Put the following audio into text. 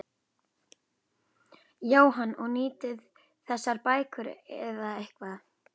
Jóhann: Og nýtið þið þessar bækur í eitthvað?